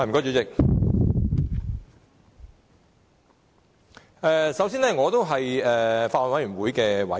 主席，首先，我是法案委員會的委員。